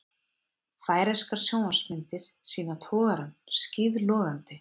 Færeyskar sjónvarpsmyndir sýna togarann skíðlogandi